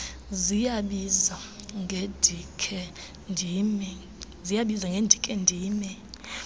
ziyabiza ngendikhe ndime